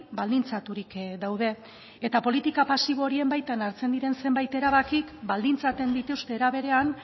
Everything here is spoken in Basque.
baldintzaturik daude eta politika pasibo horien baitan hartzen diren zenbait erabakik baldintzatzen dituzte era berean